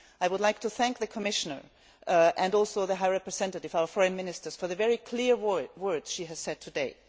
I would like to thank the Commissioner and also the High Representative our Foreign Minister for the very clear words she has said today.